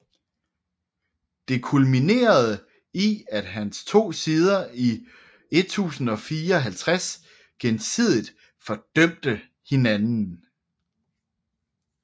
Det kulminerede i at de to sider i 1054 gensidigt fordømte hinanden